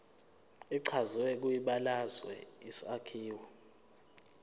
echazwe kwibalazwe isakhiwo